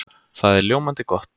Það er ljómandi gott!